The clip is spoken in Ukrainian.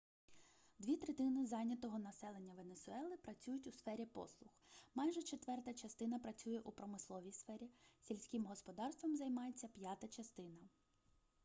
дві третини зайнятого населення венесуели працюють у сфері послуг майже четверта частина працює у промисловій сфері сільським господарством займається п'ята частина